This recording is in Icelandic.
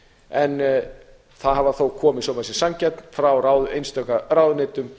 en það hefur þó komið svo maður sé sanngjarn frá einstaka ráðuneytum